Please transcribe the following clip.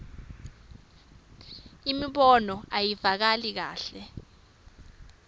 imibono ayivakali kahle